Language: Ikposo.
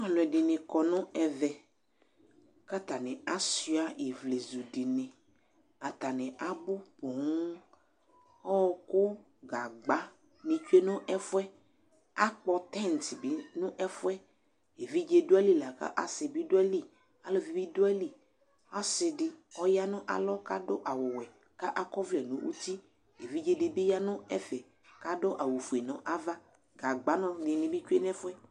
Ɔlʊ ɛdɩŋɩ kɔ ŋʊ ɛʋɛ kataŋɩ asʊa ɩʋlezʊ dɩŋɩ Ataŋɩ aɓʊ ƒoo Ɔwɔƙʊ, gagba ŋɩ tsʊe ŋʊ ɛfʊɛ Aƙpɔ tɛins ɓɩ ŋʊ ɛfʊɛ Eʋɩɖze dʊ aƴɩlɩ akʊ asɩ bɩ dʊ atilɩ, alʊʋɩ ɓɩ dʊ aƴɩlɩ Asɩ ɗɩ ɔƴa ŋʊ alɔ kadʊ awʊ ɔwɛ ka ɔkɔ ɔʋlɛ ŋʊ ʊtɩ Eʋɩɖze dɩbɩ ya ŋʊ ɛfɛ kadʊ awʊ fʊe ŋʊ ava Gagba ŋɩ tsʊe ŋʊ ɛfʊɛ